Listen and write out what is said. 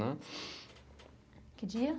Que dia?